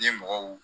Ye mɔgɔw